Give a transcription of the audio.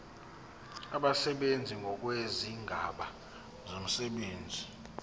abasebenzi ngokwezigaba zomsebenzi